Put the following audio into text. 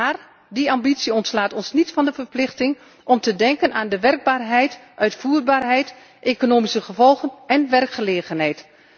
Maar die ambitie ontslaat ons niet van de verplichting om te denken aan de werkbaarheid, uitvoerbaarheid, economische gevolgen en werkgelegenheid.